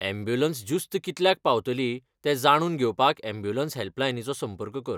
Ambulance ज्युस्त कितल्याक पावतली जे जाणून घेवपाक यॅम्ब्युलंस हॅल्पलायनीचो संपर्क कर.